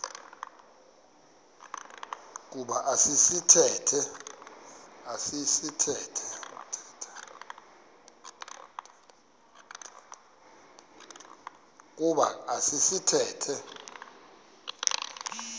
kuba esi sithethe